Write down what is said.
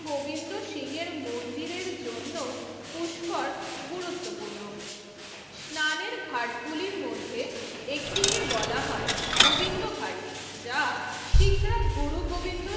গোবিন্দ সিং এর মন্দিরের জন্য পুষ্কর গুরুত্বপূর্ণ স্নানের ঘাটগুলির মধ্যে একটি কে বলা হয় গোবিন্দঘাট যা শিখরা গুরু গোবিন্দ